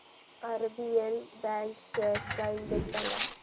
RBL bank shares चा index सांगा